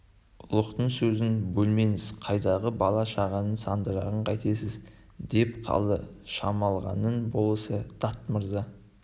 ұлықтың сөзін бөлмеңіз қайдағы бала-шағаның сандырағын қайтесіз деп қалды шамалғанның болысы дат мырза